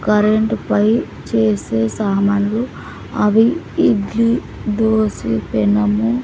కరెంటుపై చేసే సామాన్లు అవి ఇడ్లీ దోసె పెనము.